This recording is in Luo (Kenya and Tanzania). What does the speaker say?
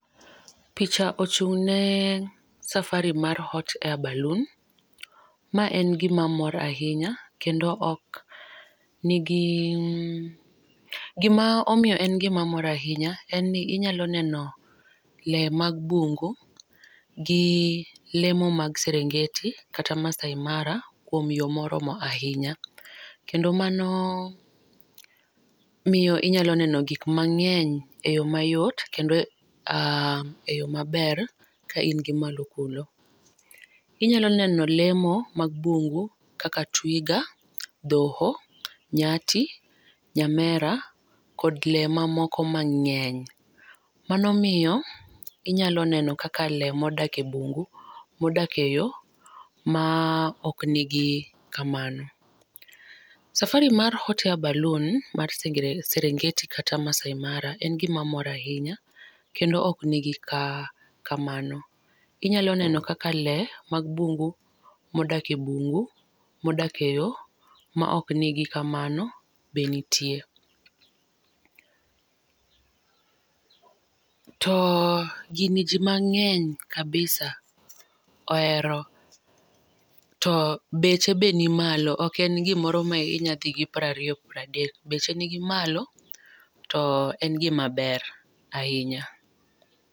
Picha ochung ne safari mar hot air ballon ma en gi mor ainya kendo ok ni gi, gi ma omiyo omora ainya en ni inyalo neno le mag bungu ,gi le mag Serengeti gn Maasai Mara kuom yo morom ainya kendo mano miyo inyalo neno gik mangeny e yo ma yot kendo e yo ma ber ka in gi malo kuno. Inyalo le mo mag bungu kaka twiga, dhoho ,nyati nyamera kod lee ma moko ma ngeny. Mano miyo inyalo neno kaka lee ma odak e bungu, ma odak e yo ma ok ni gi kamano. Safari mar hot air ballon mar Serengeti kata Maasai Mara en gi ma mora ainya kendo ok ni gi kamano. Inya neno kaka lee mag bungu ma odak e bungu, ma odak e yo ma ok ni gi kamano be nitie. pause To gini ji mangeny kabisa ohero to beche be ni malo ok en gi moro ma inyalo dhi gi piero ariyo piero adek. To beche ni gi malo to en gi ma ber ainya.